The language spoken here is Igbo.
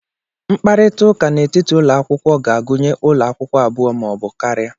Mkparịta ụka n'etiti ụlọ akwụkwọ ga-agụnye ụlọ akwụkwọ abụọ ma ọ bụ karịa.